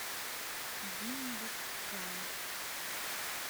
диндуккал